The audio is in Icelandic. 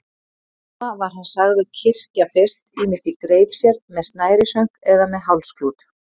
Suma var hann sagður kyrkja fyrst, ýmist í greip sér, með snærishönk eða með hálsklút.